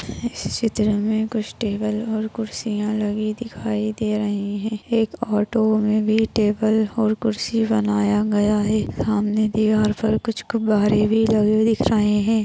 इस चित्र में कुछ टेबल और कुरसिया लगी दिखाई दे रही है एक ऑटो में भी टेबल और कुर्सी बनाया गया है सामने दीवार पर कुछ गुब्बारे भी लगे दिख रहे है।